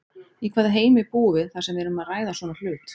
Í hvaða heimi búum við þar sem við erum að ræða svona hlut?